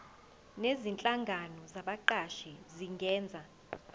nezinhlangano zabaqashi zingenza